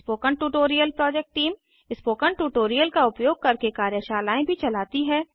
spoken tutorial project team spoken tutorial का उपयोग करके कार्यशालाएँ भी चलाती है